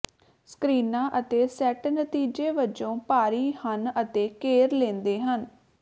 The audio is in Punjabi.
ਸਕ੍ਰੀਨਾਂ ਅਤੇ ਸੈੱਟ ਨਤੀਜੇ ਵਜੋਂ ਭਾਰੀ ਹਨ ਅਤੇ ਘੇਰ ਲੈਂਦੇ ਹਨ